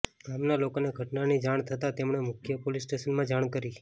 ગામના લોકોને ઘટનાની જાણ થતાં તેમણે મુખ્ય પોલીસ સ્ટેશનમાં જાણ કરી